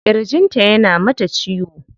Kirjin ta yana mata ciwo.